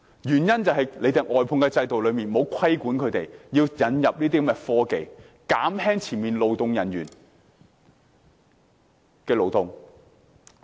原因是外判制度沒有規定外判商須引入科技，減輕前線勞動人員的勞動。